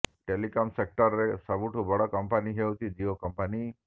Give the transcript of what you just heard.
telecom sector ରେ ସବୁଠାରୁ ବଡ଼ କମ୍ପାନୀ ହେଉଛି ଜିଓ କମ୍ପାନୀ